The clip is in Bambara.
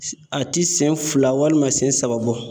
A ti siɲɛ fila walima siɲɛ saba bɔ.